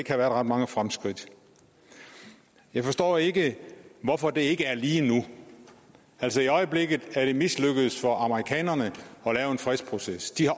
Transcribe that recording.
have været ret mange fremskridt jeg forstår ikke hvorfor det ikke er lige nu altså i øjeblikket er det mislykkedes for amerikanerne at lave en fredsproces de har